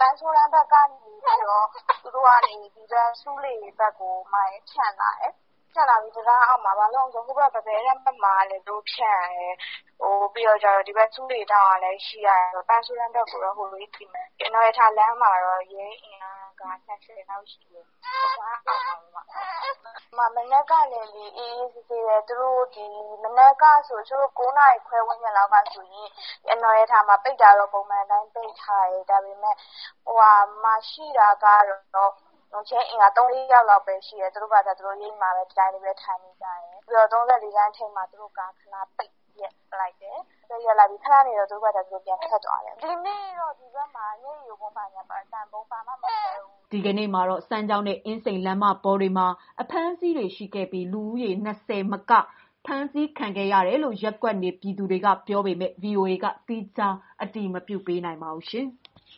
ပန်းဆိုးတန်းဘက်ကနေပြီးတော့ ဆူးလေဘက်ကို ဖြန့်ထားတယ်။ တံတားအောက်မှာ။ ဘာလို့လဲဆိုတော့ ဟိုဘက် ပန်းပဲတန်းဘက်လည်း သူတို့ ဖြန့်ရတယ်။ ဒီဘက် ဆူးလေးထောင့်ကလည်း ရှိရတယ်။ အနော်ရထာလမ်းမှာတော့ ရဲအင်အား ၂၀ လောက်ရှိတယ်။ တံတားအောက်မှာ။ မနက်ကလေ အေးအေးဆေးဆေးပဲ။ မနက်ကဆို အနော်ရထာမှာ ပိတ်တာတော့ပုံမှန်အတိုင်း ပိတ်ထားတယ်။ ရှိတာကတော့ ရဲအင်အား ၃၊ ၄ယောက်ရှိတယ်။ နေရိပ်မှာ ဒီတိုင်းထိုင်နေတယ်။ ပြီးတော့ ၃၄ လမ်းဘက် သူတို့ကား ခဏပိတ်ရပ်တယ်။ ခဏနေတော့ထွက်တယ်။ ဒီနေ့တော့ ဒီဘက် မျက်ရည်ယိုဗုံးအသံဗုံးမခွဲဘူး။" ဒီကနေ့မှာတော့ စမ်းချောင်းနဲ့ အင်းစိန်လမ်းမပေါ်တွေမှာ အဖမ်းအဆီးတွေ ရှိခဲ့ပြီး လူဦးရေ ၂၀ မက ဖမ်းခံခဲ့ရတယ်လို့ ရပ်ကွက်နေပြည်သူတွေက ပြောပေမဲ့ ဗွီအိုအေဘက်က သီးခြားအတည်မပြုနိုင်သေးပါဘူး။